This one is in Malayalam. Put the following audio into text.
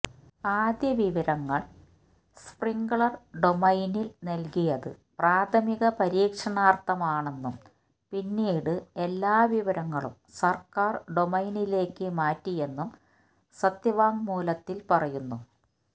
ആദ്യവിവരങ്ങള് സ്പ്രിങ്ഗ്ലര് ഡൊമൈനില് നല്കിയത് പ്രാഥമിക പരിക്ഷണാര്ഥമാണെന്നും പിന്നീട് എല്ലാ വിവരങ്ങളും സര്ക്കാര് ഡൊമൈനിലേക്ക് മാറ്റിയെന്നും സത്യവാങ്്മൂലത്തില് പറയുന്നു